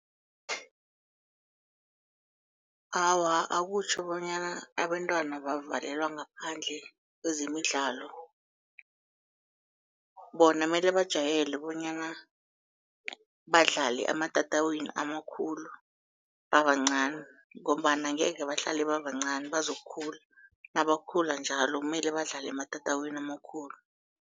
Awa, akutjho bonyana abantwana bavalelwa ngaphandle kwezemidlalo. Bona mele bajayele bonyana badlale ematatawini amakhulu babancani ngombana angeke bahlale babancani, bazokukhula, nabakhula njalo mele badlale ematatawini amakhulu.